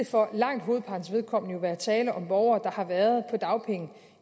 for langt hovedpartens vedkommende jo være tale om borgere der har været på dagpenge